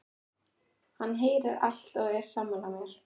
Hann heyrir allt og er sammála mér.